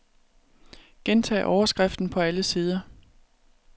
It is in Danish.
Gentag overskriften på alle sider.